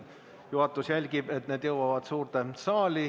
Juhatus jälgib, et need jõuavad suurde saali.